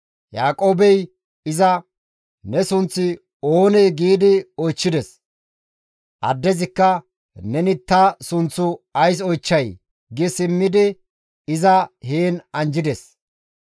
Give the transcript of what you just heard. Yaaqoobey iza, «Ne sunththi oonee?» gi oychchides. Addezikka, «Neni ta sunththu ays oychchay?» gi simmidi iza heen anjjides.